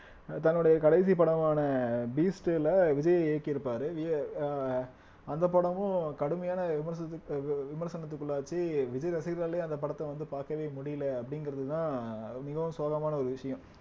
தன்னுடைய கடைசி படமான பீஸ்ட்ல விஜய் இயக்கியிருப்பாரு விஜய் அஹ் அந்த படமும் கடுமையான விமர்சனத்துக்கு விமர்சனத்துக்குள்ளாச்சு விஜய் ரசிகர்களாலயே அந்த படத்தை வந்து பார்க்கவே முடியல அப்படிங்கிறதுதான் மிகவும் சோகமான ஒரு விஷயம்